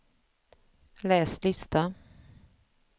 läs lista